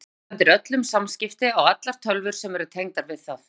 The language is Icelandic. Netald sendir öll samskipti á allar tölvur sem eru tengdar við það.